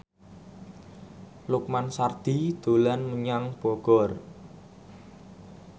Lukman Sardi dolan menyang Bogor